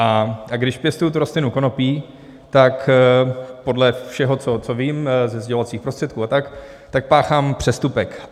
A když pěstuji tu rostlinu konopí, tak podle všeho, co vím ze sdělovacích prostředků a tak, tak páchám přestupek.